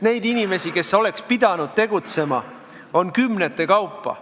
Neid inimesi, kes oleksid pidanud tegutsema, on kümnete kaupa.